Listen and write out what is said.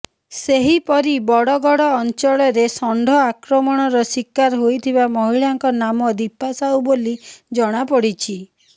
ସେହିପରି ବଡଗଡ ଅଂଚଳରେ ଷଣ୍ଢ ଆକ୍ରମଣର ଶିକାର ହୋଇଥିବା ମହିଳାଙ୍କ ନାମ ଦୀପା ସାହୁ ବୋଲି ଜଣାପଡିଛି